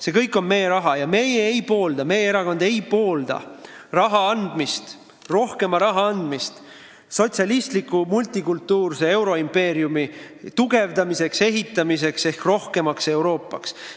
See kõik on meie raha ja meie erakond ei poolda rohkema raha andmist sotsialistliku multikultuurilise euroimpeeriumi ehitamiseks ja tugevdamiseks ehk rohkemaks Euroopaks.